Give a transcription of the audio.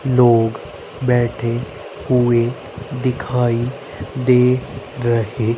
लोग बैठे हुए दिखाई दे रहे।